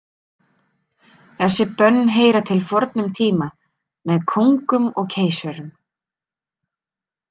Þessi bönn heyra til fornum tíma, með kóngum og keisurum.